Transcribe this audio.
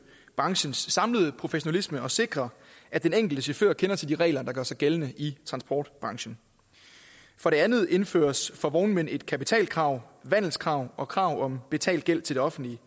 branchens samlede professionalisme og sikre at den enkelte chauffør kender til de regler der gør sig gældende i transportbranchen for det andet indføres for vognmænd et kapitalkrav vandelskrav og krav om betalt gæld til det offentlige